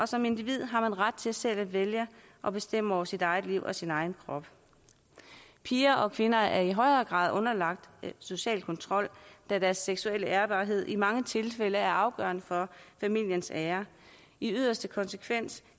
som individ har ret til selv at vælge og bestemme over sit eget liv og sin egen krop piger og kvinder er i højere grad underlagt social kontrol da deres seksuelle ærbarhed i mange tilfælde er afgørende for familiens ære i yderste konsekvens